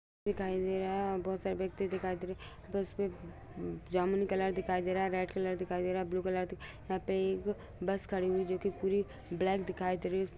दिखाई दे रहे है और बहुत सारे व्यक्ति दिखाई दे रहे है । बस पे जामनी कलर दिखाई दे रहा है। रेड कलर दिखाई दे रहा है। ब्लू कलर यहा पे एक बस खड़ी हुई है जो की पूरी ब्लैक दिखाई दे रही--